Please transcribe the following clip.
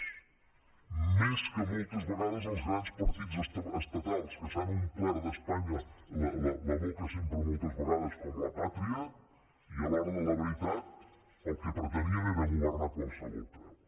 més lleials moltes vegades que els grans partits estatals que s’han omplert d’espanya la boca sempre moltes vegades de la pàtria i a l’hora de la veritat el que pretenien era governar a qualsevol preu